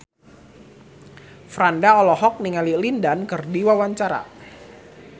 Franda olohok ningali Lin Dan keur diwawancara